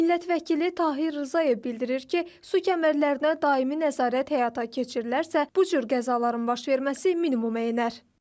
Millət vəkili Tahir Rzayev bildirir ki, su kəmərlərinə daimi nəzarət həyata keçirilərsə, bu cür qəzaların baş verməsi minimumlanır.